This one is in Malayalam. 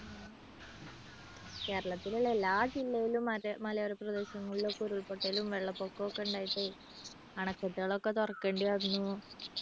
കേരളത്തിലുള്ള എല്ലാ ജില്ലയിലും മലയോര പ്രദേശങ്ങളിലും ഒക്കെ ഉരുൾപൊട്ടലും വെള്ളപ്പൊക്കവും ഒക്കെ ഉണ്ടായിട്ട് അണക്കെട്ടുകളൊക്കെ തുറക്കേണ്ടി വന്നു.